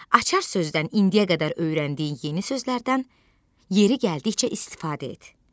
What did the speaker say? Açar sözdən indiyə qədər öyrəndiyin yeni sözlərdən yeri gəldikcə istifadə et.